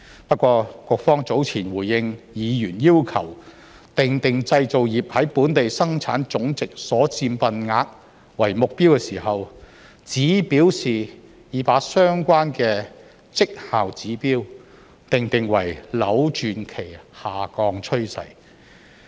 不過，局方早前回應議員要求訂定製造業在本地生產總值所佔份額為目標時，只表示已把相關的績效指標訂定為"扭轉其下降趨勢"。